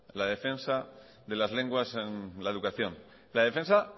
la defensa de las lenguas en la educación la defensa